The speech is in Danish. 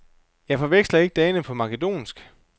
Jeg forveksler ikke dagene på makedonsk.